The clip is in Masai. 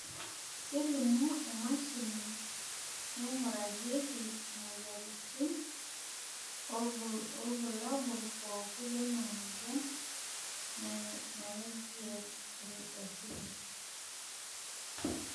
kelimu emashini naing'urarieki imoyiaritin irbulabol pookin leina moyian naing'ial akili.